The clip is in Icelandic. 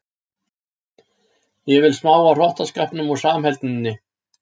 Ég vil smá af hrottaskapnum og samheldninni.